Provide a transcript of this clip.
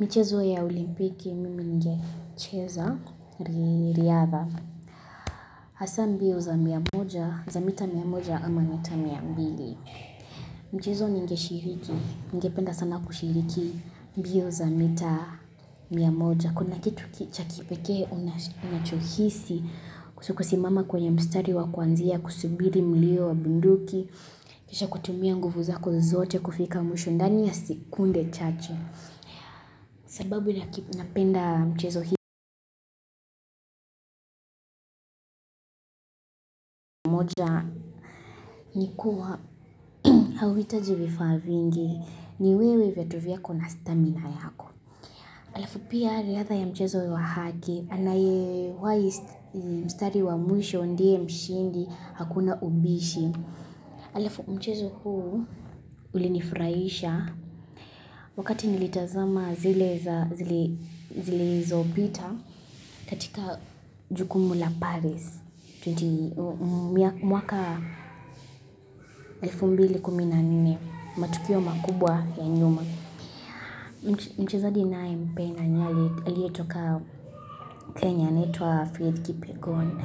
Michezo ya olimpiki mimi ningecheza ni riadha. Hasa mbio za mia moja, za mita mia moja ama mita mia mbili. Mchezo ningeshiriki, ningependa sana kushiriki mbio za mita mia moja. Kuna kitu cha kipekee unachohisi ukisimama kwenye mstari wa kuanzia, kusubiri mlio wa bunduki, kisha kutumia nguvu zako zote kufika mwisho ndani ya sekunde chache. Sababu napenda mchezo hii. Moja ni kuwa hauhitaji vifaa vingi, ni wewe viatu vyako na stamina yako. Halafu pia, ladha ya mchezo wa haki, anayewahi mstari wa mwisho ndiye mshindi, hakuna ubishi. Halafu mchezo huu ulinifurahisha wakati nilitazama zile zilizopita katika jukumu la Paris. Mwaka elfu mbili kumi na nne, matukio makubwa ya nyuma mchezaji nayempenda aliyetoka Kenya anaitwa Faith Kipyegon.